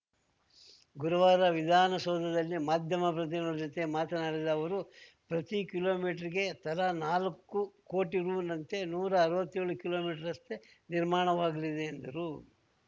ಗುರುವಾರ ವಿಧಾನಸೌಧದಲ್ಲಿ ಮಾಧ್ಯಮ ಪ್ರತಿನಿಧಿಗಳ ಜೊತೆ ಮಾತನಾಡಿದ ಅವರು ಪ್ರತಿ ಕಿಲೋಮೀಟರ್‌ಗೆ ತಲಾ ನಾಲ್ಕು ಕೋಟಿ ರುನಂತೆ ನೂರಾ ಅರ್ವತ್ತೆಳು ಕಿಲೋಮೀಟರ್ ರಸ್ತೆ ನಿರ್ಮಾಣವಾಗಲಿದೆ ಎಂದರು